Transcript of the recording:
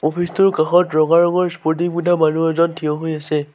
Office টোৰ কাষত ৰঙা ৰঙৰ স্পৰ্টিং পিন্ধা মানুহ এজন থিয় হৈ আছে।